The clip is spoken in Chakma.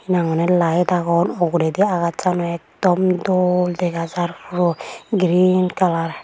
hena hoi day lite agon ogoredey akash ak dom dol dega jer puro green kalar.